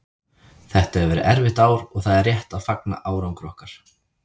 Þetta hefur verið erfitt ár og það er rétt að fagna árangri okkar.